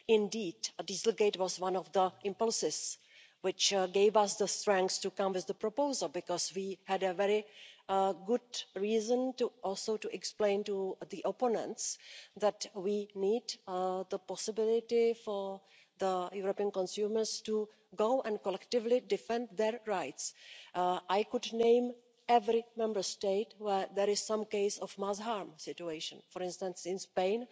Indeed, dieselgate was one of the impulses which gave us the strength to come with the proposal because we had a very good reason also to explain to the opponents that we need the possibility for European consumers to go and collectively defend their rights. I could name every Member State where there is some case of mass harm situation. For instance, in Spain,